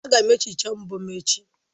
Aga m ehicha mbọ m echi.